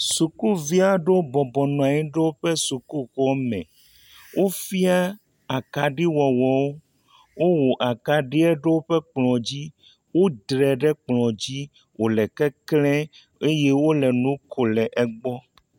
Sukuvia ɖowo bɔbɔ nɔanyi ɖo o ƒe suku xɔme, o fia akaɖi wɔwɔwo, o wɔ akaɖie ɖowo ƒe kplɔ̃ dzi, o dre ɖe kplɔ̃ dzi, o le kekle, eye wole nu ko le egbɔ.